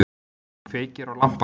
Kveikir á lampanum.